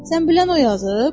Sən bilən o yazıb?